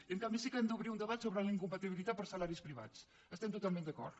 i en canvi sí que hem d’obrir un debat sobre la incompatibilitat per salaris privats hi estem totalment d’acord